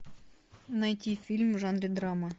найти фильм в жанре драма